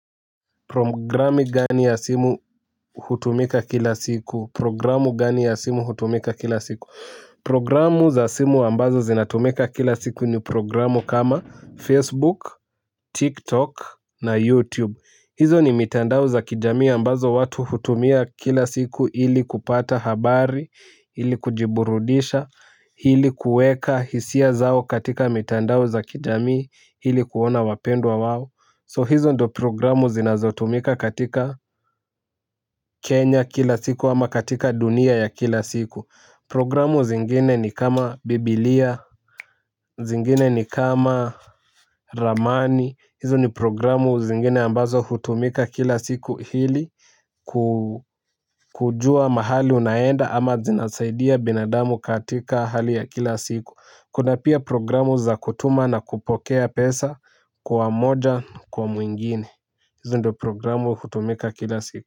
Programu gani ya simu hutumika kila siku? Programu gani ya simu hutumika kila siku? Programu za simu ambazo zinatumika kila siku ni programu kama Facebook, TikTok na YouTube. Hizo ni mitandao za kijami ambazo watu hutumia kila siku ili kupata habari, ili kujiburudisha, ili kueka hisia zao katika mitandao za kijami, ili kuona wapendwa wao. So hizo ndio programu zinazotumika katika Kenya kila siku ama katika dunia ya kila siku. Programu zingine ni kama Bibilia, zingine ni kama Ramani. Hizo ni programu zingine ambazo hutumika kila siku hili kujua mahali unaenda ama zinasaidia binadamu katika hali ya kila siku. Kuna pia programu za kutuma na kupokea pesa kwa moja kwa mwingine hizo ndio programu hutumika kila siku.